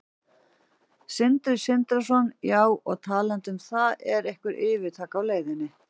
Sindri Sindrason: Já, og talandi um það, er einhver yfirtaka á leiðinni?